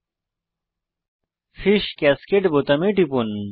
fish cascade fish cascade বোতামে টিপুন